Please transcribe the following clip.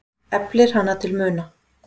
Eflir hana til muna.